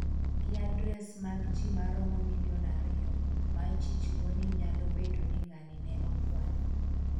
gi adres mag ji maromo milion ariyo ma ichich go ni nyalo bedo ni ng'ani ne okwalo